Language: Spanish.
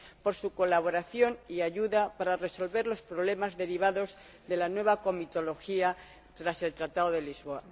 por su colaboración y ayuda para resolver los problemas derivados de la nueva comitología tras el Tratado de Lisboa.